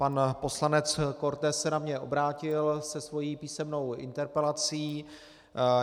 Pan poslanec Korte se na mě obrátil se svou písemnou interpelací.